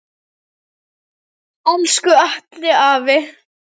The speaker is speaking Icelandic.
Elsku Atli afi.